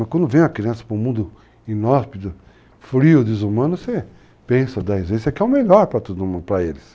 Mas quando vem a criança para um mundo inóspito, frio, desumano, você pensa dez vezes, você quer o melhor para todo mundo, para eles.